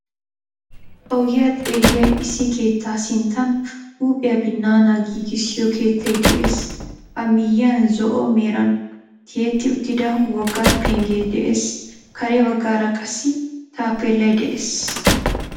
Ogiya xeelliya issi keettaa sinttan huuphiya binnaana giigissiyo keettay de'ees.A miyyiyan zo'o meran tiyetti uttida wogga penggee de'ees. kare baggaara qassi taapeellay de'ees.